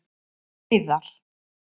Hreiðar